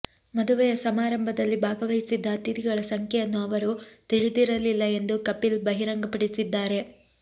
ಮದುವೆಯ ಸಮಾರಂಭದಲ್ಲಿ ಭಾಗವಹಿಸಿದ್ದ ಅತಿಥಿಗಳ ಸಂಖ್ಯೆಯನ್ನು ಅವರು ತಿಳಿದಿರಲಿಲ್ಲ ಎಂದು ಕಪಿಲ್ ಬಹಿರಂಗಪಡಿಸಿದ್ದಾರೆ